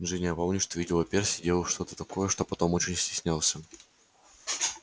джинни а помнишь ты видела перси делал что-то такое что потом очень стеснялся